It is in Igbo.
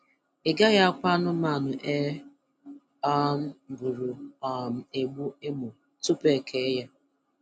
I gaghị akwa anụmanụ e um gburu um egbu emo tupu e kee ya.